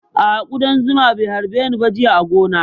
A'a ƙudan zuma bai harbe ni ba jiya a gona